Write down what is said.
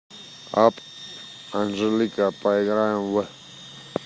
апп анжелика поиграем в